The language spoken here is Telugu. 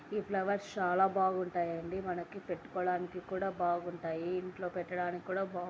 ఈ ఫ్లవర్స్ చాలా బావుంటాయి అండి. మనకు పెట్టుకోడానికి కూడా బావుంటాయి. ఇంట్లో పెట్టడానికి కూడా బావుం --